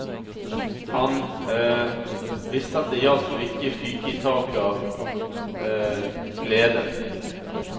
Han visste at det gjaldt å ikke fyke i taket av glede.